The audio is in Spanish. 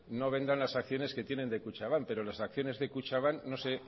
no vendan las acciones que tengan de kutxabank pero las acciones de kutxabank no sé